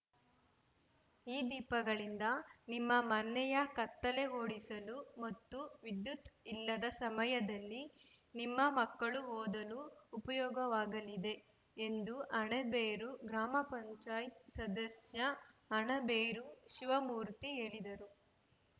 ಈ ದೀಪಗಳಿಂದ ನಿಮ್ಮ ಮನೆಯ ಕತ್ತಲೆ ಓಡಿಸಲು ಮತ್ತು ವಿದ್ಯುತ್‌ ಇಲ್ಲದ ಸಮಯದಲ್ಲಿ ನಿಮ್ಮ ಮಕ್ಕಳು ಓದಲು ಉಪಯೋಗವಾಗಲಿದೆ ಎಂದು ಅಣಬೇರು ಗ್ರಾಮ ಪಂಚಾಯತ್ ಸದಸ್ಯ ಅಣಬೇರು ಶಿವಮೂರ್ತಿ ಹೇಳಿದರು